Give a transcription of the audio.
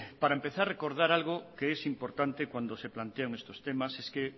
para empezar recordar algo que es importante cuando se plantean estos temas y es que